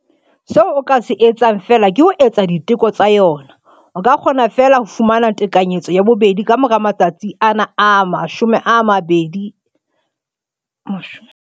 Seo o ka se etsang feela ke ho etsa diteko tsa yona. O ka kgona feela ho fumana tekanyetso ya bobedi ka mora matsatsi ana a 42.